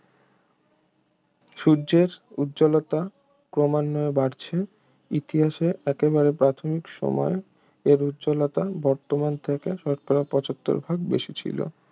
সূর্যের উজ্জ্বলতা ক্রমান্বয়ে বাড়ছে ইতিহাসের একেবারে প্রাথমিক সময়ে এর উজ্জ্বলতা বর্তমান থেকে শতকরা পঁচাত্তর ভাগ বেশি ছিল